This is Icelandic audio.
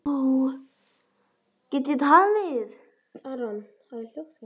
Til hvers mamma?